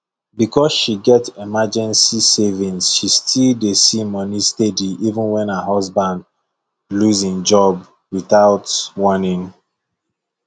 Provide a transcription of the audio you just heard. because she get emergency savings she still dey see money steady even when her husband lose him job without warning